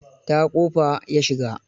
Ta ƙofa ya shigo.